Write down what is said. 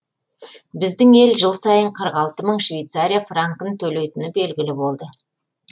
біздің ел жыл сайын қырық алты мың швейцария франкін төлейтіні белгілі болды